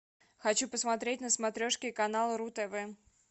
хочу посмотреть на смотрешке канал ру тв